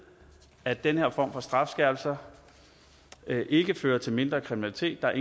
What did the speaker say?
at den her form for strafskærpelser ikke fører til mindre kriminalitet der